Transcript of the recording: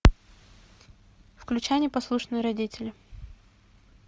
включай непослушные родители